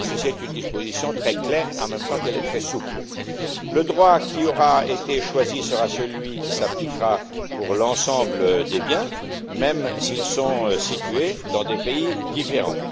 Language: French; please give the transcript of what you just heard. Ceci est une disposition très claire en même temps qu'elle est très souple. Le droit qui aura été choisi sera celui qui s'appliquera pour l'ensemble des biens, même s'ils sont situés dans des pays différents.